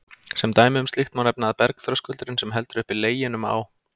Sem dæmi um slíkt má nefna að bergþröskuldurinn, sem heldur uppi Leginum á